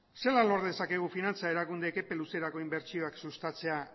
zelan lor dezakegu finantza erakundeek epe luzerako inbertsioak sustatzea